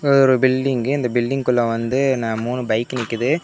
இது ஒரு பில்டிங்கு இந்த பில்டிங்குள்ள வந்து ந மூணு பைக்கு நிக்குது.